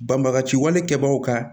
Banbagaciwale kɛbaw ka